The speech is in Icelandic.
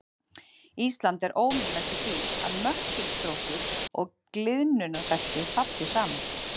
Ísland er óvenjulegt í því að möttulstrókur og gliðnunarbelti falli saman.